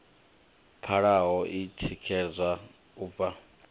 pfalaho i tikedzwaho u bva